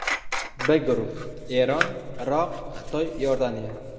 B guruhi: Eron, Iroq, Xitoy, Iordaniya.